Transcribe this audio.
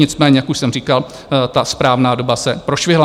Nicméně jak už jsem říkal, ta správná doba se prošvihla.